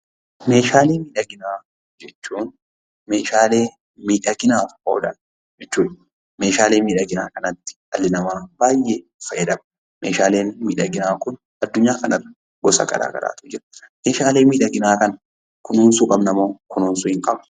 Meeshaalee miidhaginaa jechuun meeshaalee miidhaginaaf oolan jechuudha. Meeshaalee miidhaginaa kanatti dhalli namaa baay'ee fayyadama. Meeshaaleen miidhaginaa kun addunyaa kanarra gosa garaa garaatu jira. Meeshaalee miidhaginaa kana kunuunsuu qabnamoo kunuunsuu hin qabnu?